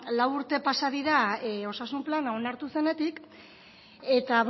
lau urte pasa dira osasun plan onartu zenetik eta